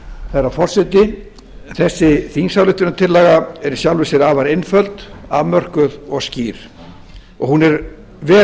herra forseti þessi þingsályktunartillaga er í sjálfu sér afar einföld afmörkuð og skýr hún er vel